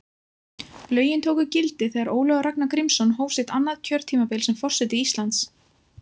Lögin tóku gildi þegar Ólafur Ragnar Grímsson hóf sitt annað kjörtímabil sem forseti Íslands.